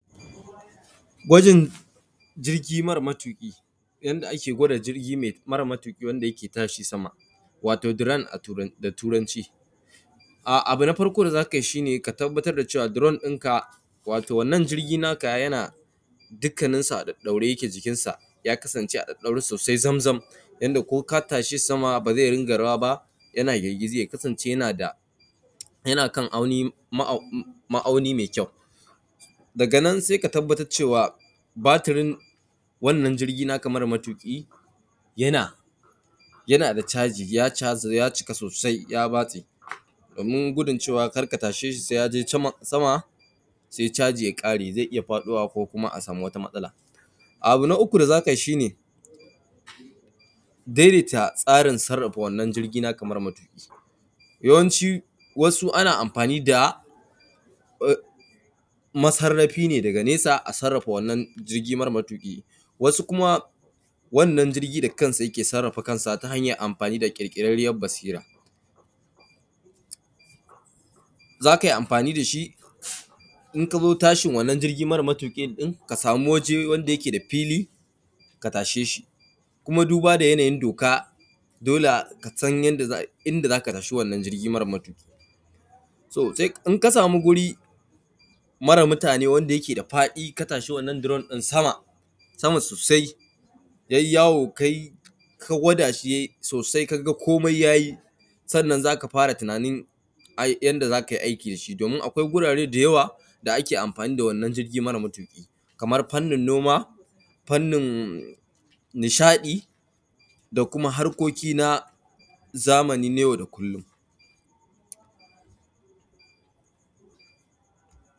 Gwajin jirjigi mara matuƙi, yanda ake gwada jirgi me mara matuƙi wanda yake tashi sama, wato diran da Turanci. Abu na farko da za ka yi shi ne ka tabbatar da cewa duron ɗin ka wato wannan jirgi naka ya kasance a ɗaure zamzam yanda in ko ka tashe shi sama ba ze dinga rawa ba yana girgiji ya kasance yana ma’auni me kyau daga nan se ka tabbatar cewa batirin wannan jirgi naka maramatuƙi yana da caji ya cika sosai ya batse domin gudun cewa kacda ka tashe shi se ya je sama ya ƙare ze iya faɗowa ko kuma a samu wata matsala, abu na uku da za ka yi shi ne daidaita tsarin sarrada wannan jirgi naka mara matuƙi, yawanci wasu ana amfani da massarafi ne daga nesa a sarrafa wannan jirgin mara matuƙi, wasu kuma wannan jirgin da kansa yake sarrafa kansa ta hanyan amfani da ƙirƙirarriyar basira, za ka yi amfani da shi in ka zo ka samu waje wanda yake da fili ka tashe shi kuma duba da yanayin doka dole ka san yadda inda za ka tashi, wannan jirgin mara matuƙi to in ka samu wuri mara mutane wadda yake da faɗi ka tashi wannan duron ɗin sama-sama sosai ya yi yawo ka gwada shi ya yi sosai ka ga komai ya yi. Sannan za ka fara tunanin a yi yanda za ka yi aiki da shi domin akwai wurare da yawa da ake amfani da wannan jirgin mara matuƙi kaman fannin noma, fannin nishaɗi da kuma harkoki na zamani na yau da kullum.